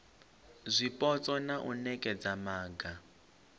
zwipotso na u nekedza maga